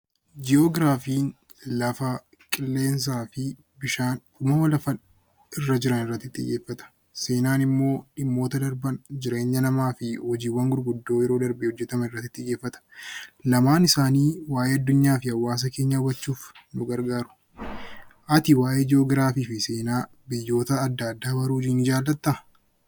Ji'ograafiin lafa, qilleensaa fi bishaan uumama lafa irra jiran irratti xiyyeeffata. Seenaan immoo dhimmoota darban jireenya namaa fi hojiiwwan gurguddoo yeroo darbe hojjetaman irratti xiyyeeffata. Lamaan isaanii waa'ee Addunyaa fi Hawaasa keenyaa hubachuuf nu gargaaru. Ati waa'ee Ji'ograafii fi Seenaa biyyoota addaa addaa baruu nii jaallattaa?